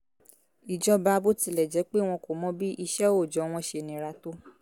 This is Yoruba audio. ìjọba bó tilẹ̀ jẹ́ pé wọn kò mọ bí iṣẹ́ òòjọ́ wọn ṣe nira tó